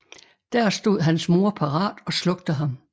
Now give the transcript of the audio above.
Der stod hans mor parat og slugte ham